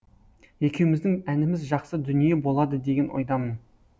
екеуміздің әніміз жақсы дүние болады деген ойдамын